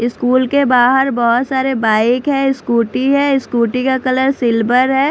School के बाहर बहोत सारे बाइक है स्कूटी है स्कूटी का कलर सिल्वर है।